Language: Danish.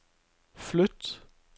flyt